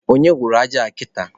Onye wụrụ aja a kịta?